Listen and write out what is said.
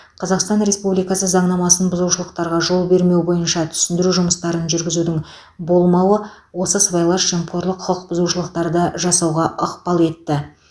қазақстан республикасы заңнамасын бұзушылықтарға жол бермеу бойынша түсіндіру жұмыстарын жүргізудің болмауы осы сыбайлас жемқорлық құқық бұзушылықтарды жасауға ықпал етті